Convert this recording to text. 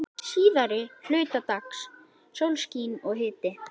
Síðari hluta dags sólskin og hiti.